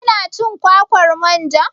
Kina cin kwakwar manja?